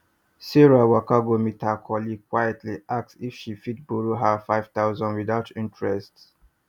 sarah waka go meet her colleague quietly ask if she fit borrow her five thousand without interest